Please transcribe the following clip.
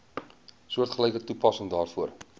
soortgelyke toepassing daarvoor